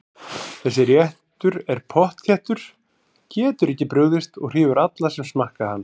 Þessi réttur er pottþéttur, getur ekki brugðist og hrífur alla sem smakka hann.